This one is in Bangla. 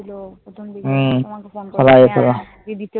ছিল প্রথমদিকে তোমাকে phone